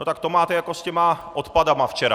No tak to máte jako s těmi odpady včera.